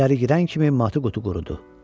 İçəri girən kimi matı qutu qurudu.